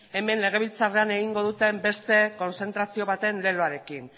hemen legebiltzarrean egingo duten beste kontzentrazio baten leloarekin